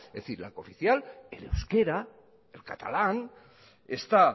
es decir la cooficial el euskera el catalán está